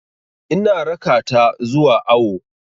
Ina raka ta zuwa awo.